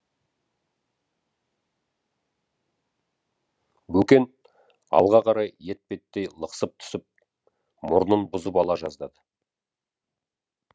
бөкен алға қарай етпеттей лықсып түсіп мұрнын бұзып ала жаздады